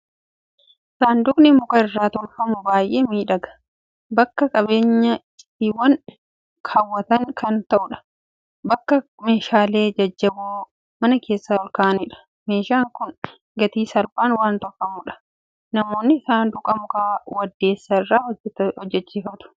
Saanduqni muka irraa tolfamu baay'ee miidhaga! Bakka qabeenya icciitaan kaawwatan kan ta'udha; bakka meeshaalee jajjaboo mana keessaa ol kaa'anidha. Meeshaan kun gatii salphaan waan tolfamudhaa? Namoonni saanduqa muka waddeessa irraa hojjechiifatu.